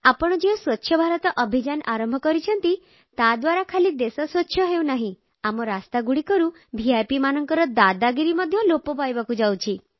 ଆପଣ ଯେଉଁ ସ୍ୱଚ୍ଛ ଭାରତ ଅଭିଯାନ ଆରମ୍ଭ କରିଛନ୍ତି ତାଦ୍ୱାରା ଖାଲି ଦେଶ ସ୍ୱଚ୍ଛ ହେଉନାହିଁ ଆମ ରାସ୍ତାଗୁଡ଼ିକରୁ ଭିପ୍ ମାନଙ୍କର ଦାଦାଗିରି ମଧ୍ୟ ଲୋପ ପାଇବାକୁ ଯାଉଛି